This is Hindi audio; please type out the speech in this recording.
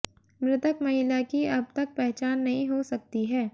मृतक महिला की अब तक पहचान नही हो सकती है